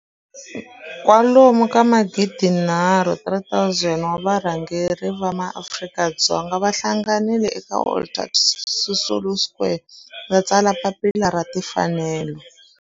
kwalomu ka magidi nharhu, 3 000 wa varhangeri va maAfrika-Dzonga va hlanganile eka Walter Sisulu Square ku ta tsala Papila ra Tinfanelo.